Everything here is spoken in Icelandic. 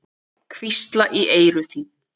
Hvísla í eyru þín.